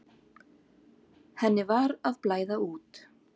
Henni var að blæða út.